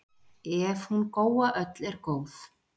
Ef hún Góa öll er góð,